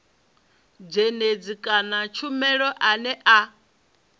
dzhendedzi kana tshumelo ane a